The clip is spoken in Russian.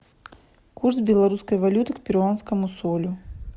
курс белорусской валюты к перуанскому солю